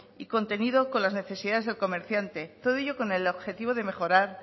y contenido con las necesidades del comerciante todo ello con el objetivo de mejorar